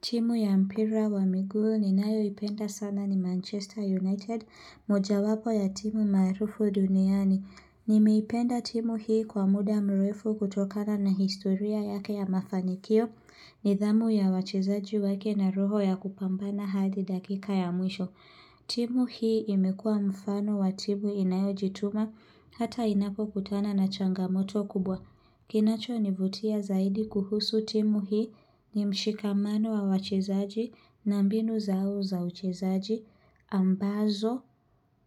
Timu ya mpira wa miguu ninayo ipenda sana ni Manchester United, mojawapo ya timu maarufu duniani. Nimeipenda timu hii kwa muda mrefu kutokana na historia yake ya mafanikio nidhamu ya wachezaji wake na roho ya kupambana hadi dakika ya mwisho. Timu hii imekua mfano wa timu inayo jituma hata inapokutana na changamoto kubwa. Kinacho nivutia zaidi kuhusu timu hii ni mshikamano wa wachezaji na mbinu zao za uchezaji ambazo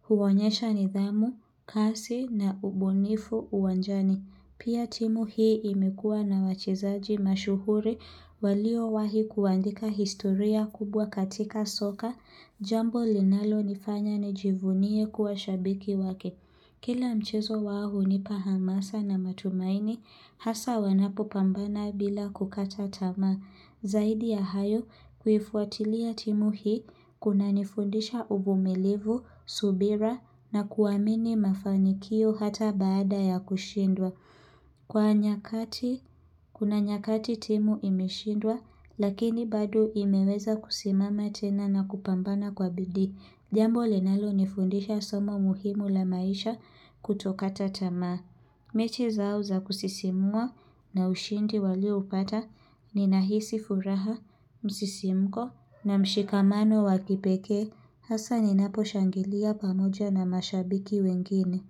huonyesha nidhamu, kasi na ubunifu uwanjani. Pia timu hii imekuwa na wachezaji mashuhuri waliowahi kuandika historia kubwa katika soka jambo linalonifanya nijivunie kuwa shabiki wake. Kila mchezo wao hunipa hamasa na matumaini, hasa wanapopambana bila kukata tamaa. Zaidi ya hayo, kuifuatilia timu hii, kunanifundisha uvumilivu, subira na kuamini mafanikio hata baada ya kushindwa. Kwa nyakati, kuna nyakati timu imeshindwa, lakini bado imeweza kusimama tena na kupambana kwa bidii. Jambo linalo nifundisha somo muhimu la maisha kutokata tamaa. Mechi zao za kusisimua na ushindi walioupata ninahisi furaha, msisimko na mshikamano wa kipekee. Hasa ninapo shangilia pamoja na mashabiki wengine.